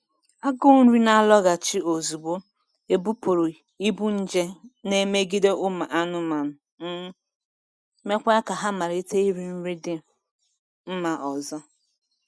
Agụ nri na-alọghachi ozugbo ebupụrụ ibu nje n'emegide ụmụ anụmanụ, um ma mekwa ka ha malite iri nri dị um mma ọzọ.